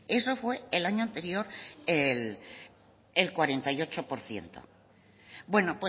eso fue el año anterior el cuarenta y ocho por ciento bueno